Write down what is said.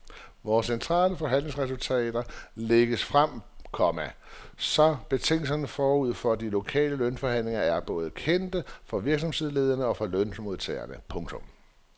Vores centrale forhandlingsresultater lægges frem, komma så betingelserne forud for de lokale lønforhandlinger er kendte både for virksomhedslederne og for lønmodtagerne. punktum